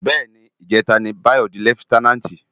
Bè ni, ijètá ni Bayo di lèfitènánti